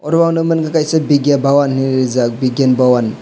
oro ang nogmangka vidyavavan ni rijak vidyavavan.